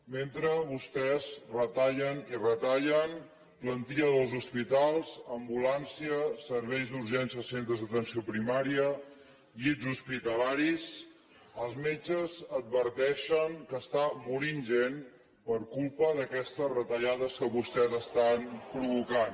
mentre vostès retallen i retallen plantilla dels hospitals ambulància serveis d’urgències als centres d’atenció primària llits hospitalaris els metges adverteixen que està morint gent per culpa d’aquestes retallades que vostès estan provocant